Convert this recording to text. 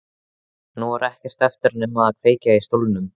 Nú var ekkert eftir nema að kveikja í stólnum.